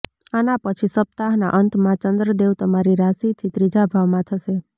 આના પછી સપ્તાહ ના અંત માં ચંદ્રદેવ તમારી રાશિ થી ત્રીજા ભાવ માં જશે